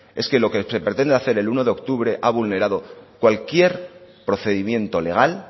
es que lo que se pretende hacer el uno de octubre ha vulnerado cualquier procedimiento legal